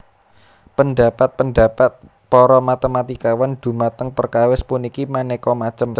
Pendhapat pendhapat para matématikawan dhumateng perkawis puniki manéka macem